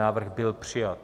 Návrh byl přijat.